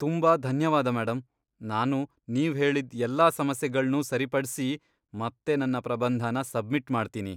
ತುಂಬಾ ಧನ್ಯವಾದ ಮೇಡಂ, ನಾನು ನೀವ್ ಹೇಳಿದ್ ಎಲ್ಲಾ ಸಮಸ್ಯೆಗಳ್ನೂ ಸರಿಪಡ್ಸಿ ಮತ್ತೆ ನನ್ನ ಪ್ರಬಂಧನ ಸಬ್ಮಿಟ್ ಮಾಡ್ತೀನಿ.